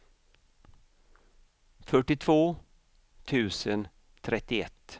fyrtiotvå tusen trettioett